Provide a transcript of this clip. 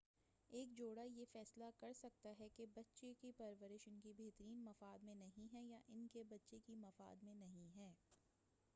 ایک جوڑہ یہ فیصلہ کرسکتا ہے کہ بچے کی پرورش ان کے بہترین مفاد میں نہیں ہے یا ان کے بچے کے مفاد میں نہیں ہے